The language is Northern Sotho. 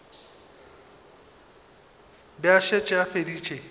be a šetše a feditše